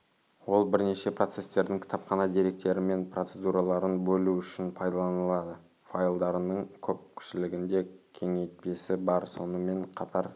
ол бірнеше процестердің кітапхана деректері мен процедураларын бөлу үшін пайдаланылады файлдарының көпшілігінде кеңейтпесі бар сонымен қатар